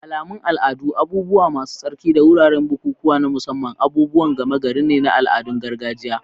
Alamun al'adu, abubuwa masu tsarki, da wuraren bukukuwa na musamman, abubuwan gama gari ne na al'adun gargajiya.